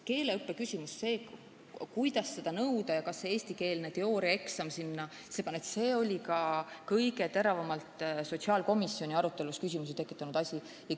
Keeleõppe küsimus, see, mida ikkagi nõuda ja kas eestikeelne teooriaeksam peab ka olema, oli kõige teravamat sotsiaalkomisjoni arutelu tekitanud teema.